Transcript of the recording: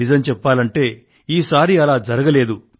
నిజం చెప్పాలంటే ఈసారి అలా జరగలేదు